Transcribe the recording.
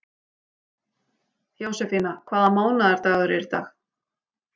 Jósefína, hvaða mánaðardagur er í dag?